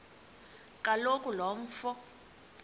kaloku lo mfo